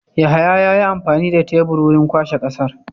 Yahaya yayi amfani da tebur wurin kwashe ƙasar.